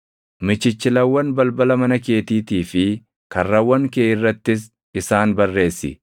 Michichilawwan balbala mana keetiitii fi karrawwan kee irrattis isaan barreessi;